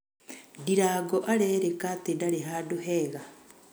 Ndirango arĩrĩka atĩ ndarĩ handũ hega